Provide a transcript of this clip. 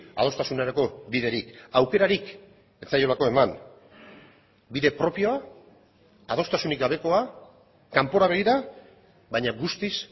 adostasunerako biderik aukerarik ez zaiolako eman bide propioa adostasunik gabekoa kanpora begira baina guztiz